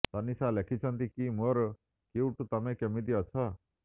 ତନୀଷା ଲେଖିଛନ୍ତି କି ମୋର କ୍ୟୁଟ୍ ତମେ କେମିତି ଅଛ